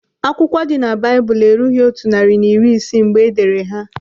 Akwụkwọ dị na Baịbụl erughị otu narị na iri isii mgbe edere ha.